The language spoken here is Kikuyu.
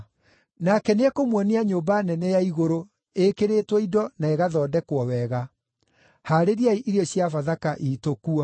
Nake nĩekũmuonia nyũmba nene ya igũrũ ĩkĩrĩtwo indo na ĩgathondekwo wega. Haarĩriai irio cia Bathaka iitũ kuo.”